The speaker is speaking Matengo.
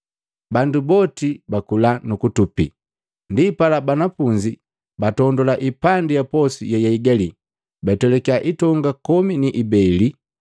Bandu boti bakula, nukutupi. Ndipala banafunzi batondula ipandi ya posu yeyaigali, batwelakiya itonga komi ni ibeli.